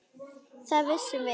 Hvað vissum við?